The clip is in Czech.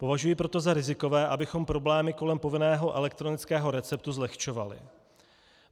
Považuji proto za rizikové, abychom problémy kolem povinného elektronického receptu zlehčovali.